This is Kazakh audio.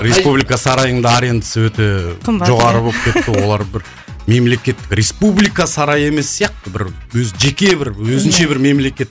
республика сарайының да арендасы өте қымбат жоғары болып кетті олар бір мемлекеттік республика сарайы емес сияқты бір өзі жеке бір өзінше бір мемлекет